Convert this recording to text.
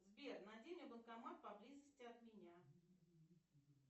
сбер найди мне банкомат поблизости от меня